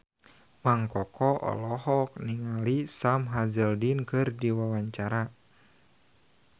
Mang Koko olohok ningali Sam Hazeldine keur diwawancara